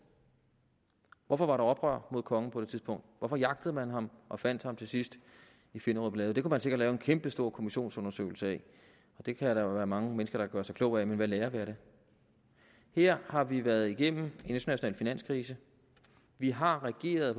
hvorfor var der oprør mod kongen på det tidspunkt hvorfor jagtede man ham og fandt ham til sidst i finderup lade det kunne man sikkert lave en kæmpestor kommissionsundersøgelse af det kan der jo være mange mennesker der gør sig kloge på men hvad lærer vi af det her har vi været igennem en international finanskrise vi har reageret